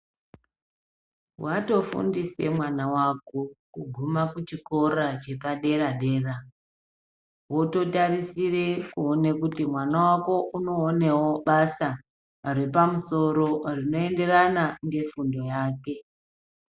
Watofndise mwana wako kuguma kuchikora chepadera dera wototarisire kuona kuti mwana wako unoonewo basa yepamusoro rinoenderana nefundo yake.